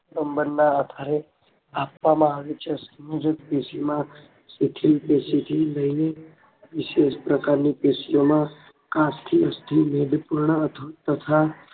સબંધના આધારે આપવામાં આવે છે સંયોજક પેશીમાં સંયોજક પેશીમાં શિથિલ પેશીથી લઈને વિશેષ પ્રકાર ની પેશીઓમાં પૂર્ણ તથા